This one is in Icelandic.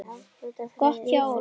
Gott hjá Óla.